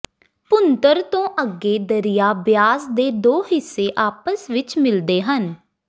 ਭੁੰਤਰ ਤੋਂ ਅੱਗੇ ਦਰਿਆ ਬਿਆਸ ਦੇ ਦੋ ਹਿੱਸੇ ਆਪਸ ਵਿੱਚ ਮਿਲਦੇ ਸਨ